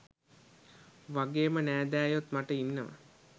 වගේම නෑදෑයොත් මට ඉන්නව.